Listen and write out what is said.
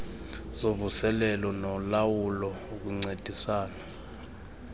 zovuselelo nolawulo ukuncedisana